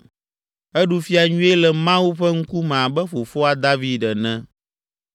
Eɖu fia nyuie le Mawu ƒe ŋkume abe fofoa, David ene.